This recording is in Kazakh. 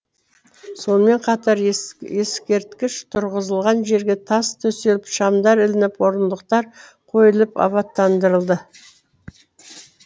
сонымен қатар ескерткіш тұрғызылған жерге тас төселіп шамдар ілініп орындықтар қойылып абаттандырылды